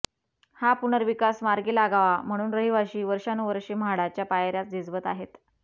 हा पुनर्विकास मार्गी लागावा म्हणून रहिवाशी वर्षानुवर्षे म्हाडाच्या पायऱ्या झिजवत आहेत